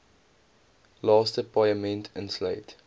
laaste paaiement insluit